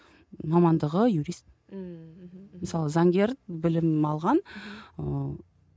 мамандығы юрист ммм мхм мысалы заңгер білім алған мхм ыыы